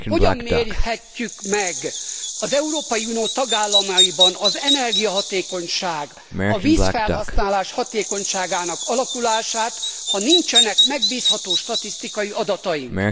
Hogyan mérhetjük meg az Európai Unió tagállamaiban az energiahatékonyság, a vízfelhasználás hatékonyságának alakulását, ha nincsenek megbízható statisztikai adataink.